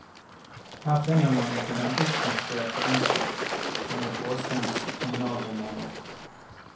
Her finner man ikke den oppkonstruerte ondskap, som i påskens kriminalromaner.